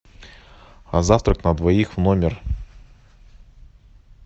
завтрак на двоих в номер